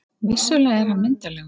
Vissulega er hann myndarlegur.